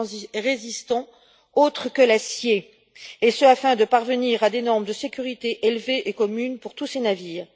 et résistant autre que l'acier, et ce afin de parvenir à des normes de sécurité élevées et communes pour tous ces navires.